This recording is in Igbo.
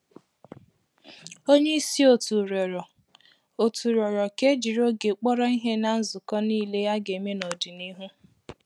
Onye isi òtù rịọrọ òtù rịọrọ ka e jiri oge kpọrọ ihe n’nzukọ niile a ga-eme n’ọdịnihu.